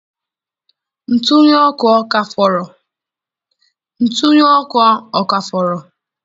Ntughe ọkụ ọ ka fọrọ?